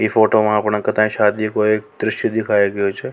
इ फोटो में अपना कथा शादी को एक द्रश्य दिखाओ गया छ।